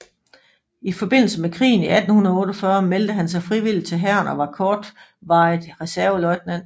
I forbindelse med krigen i 1848 meldte han sig frivilligt til hæren og var kortvarigt reserveløjtnant